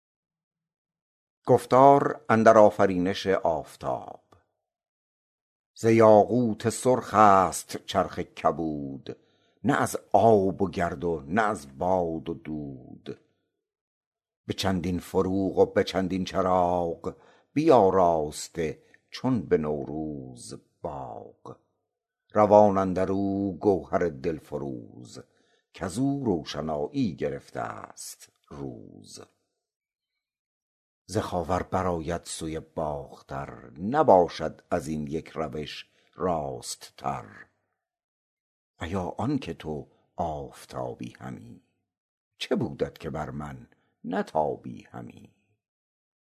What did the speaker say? ز یاقوت سرخ است چرخ کبود نه از آب و گرد و نه از باد و دود به چندین فروغ و به چندین چراغ بیاراسته چون به نوروز باغ روان اندر او گوهر دل فروز کز او روشنایی گرفته است روز ز خاور بر آید سوی باختر نباشد از این یک روش راست تر ایا آن که تو آفتابی همی چه بودت که بر من نتابی همی